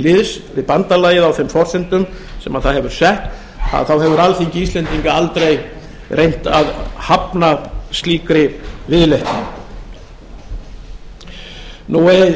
liðs við bandalagið á þeim forsendum sem það hefur sett þá hefur alþingi íslendinga aldrei reynt að hafna slíkri viðleitni